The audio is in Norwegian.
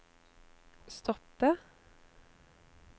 stoppe